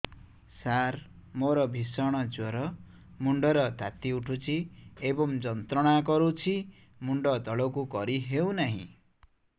ସାର ମୋର ଭୀଷଣ ଜ୍ଵର ମୁଣ୍ଡ ର ତାତି ଉଠୁଛି ଏବଂ ଯନ୍ତ୍ରଣା କରୁଛି ମୁଣ୍ଡ ତଳକୁ କରି ହେଉନାହିଁ